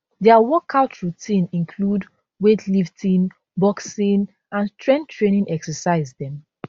dia workout routine include weightlifting boxing and strength training exercise dem